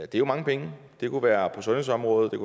det er mange penge det kunne være på sundhedsområdet det